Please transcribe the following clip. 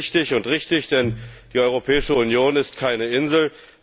Das ist wichtig und richtig, denn die Europäische Union ist keine Insel.